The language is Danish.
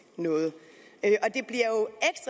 noget